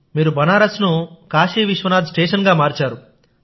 మీరు బనారస్ ను కాశీ విశ్వనాథ్ స్టేషన్ గా మార్చారు